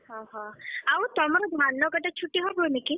ଆଉ ତମର ଧାନ କଟା ଛୁଟିହବନି କି?